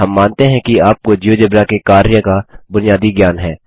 हम मानते हैं कि आपको जियोजेब्रा के कार्य का बुनियादी ज्ञान है